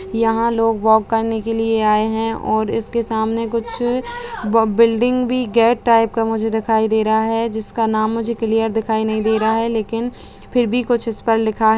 यहां लोग वॉक करने के लिये आये हैं और इसके सामने कुछ ब बिल्डिंग भी गेट टाइप का मुझे दिखाई दे रहा है जिसका नाम मुझे क्लियर दिखाई नहीं दे रहा है लेकिन फिर भी कुछ इस पर लिखा है |